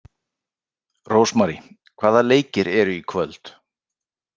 Rósmary, hvaða leikir eru í kvöld?